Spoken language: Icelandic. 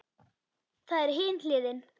Það er hin hliðin.